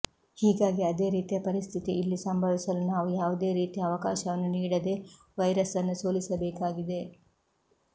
ಹೀಗಾಗಿ ಅದೇ ರೀತಿಯ ಪರಿಸ್ಥಿತಿ ಇಲ್ಲಿ ಸಂಭವಿಸಲು ನಾವು ಯಾವುದೇ ರೀತಿಯ ಅವಕಾಶವನ್ನು ನೀಡದೆ ವೈರಸ್ ಅನ್ನು ಸೋಲಿಸಬೇಕಾಗಿದೆ